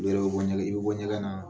U yɛrɛ be bɔ ɲɛgɛn, i be bɔ ɲɛgɛn naa